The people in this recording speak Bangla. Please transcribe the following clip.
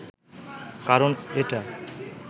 কারন এটা